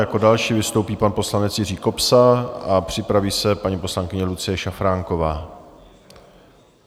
Jako další vystoupí pan poslanec Jiří Kobza a připraví se paní poslankyně Lucie Šafránková.